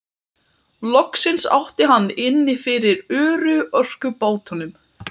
Loksins átti hann inni fyrir örorkubótunum.